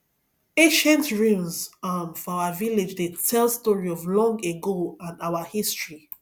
ancient ruins um for our village dey tell story of long ago and our history